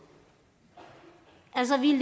altså vi